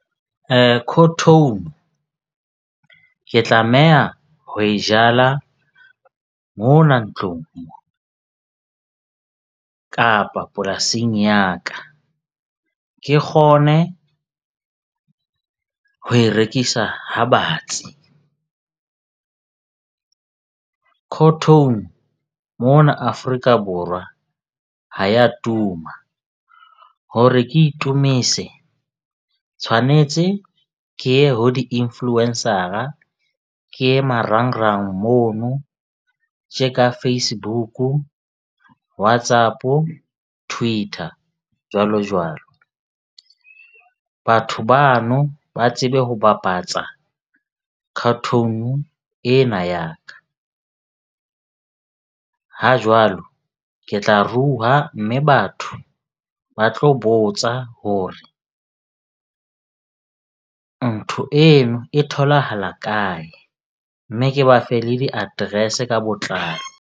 ke tlameha ho e jala mona ntlong kapa polasing ya ka. Ke kgone ho e rekisa ha batsi. mona Afrika Borwa ha ya tuma hore ke itumise tshwanetse ke ye ho di-influencer-a, ke ye marangrang mono tje ka Facebook-u, WhatsApp-o, Twitter, jwalo jwalo. Batho bano ba tsebe ho bapatsa ena ya ka. Ha jwalo ke tla rua, mme batho ba tlo botsa hore ntho eno e tholahala kae. Mme ke ba fe le di-address-e ka botlalo.